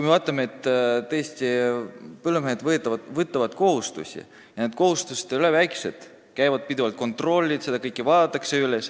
Vaatame sedagi, et põllumehed võtavad kohustusi – ja need kohustused ei ole väikesed –, pidevalt käivad kontrollid ja kõike vaadatakse üle.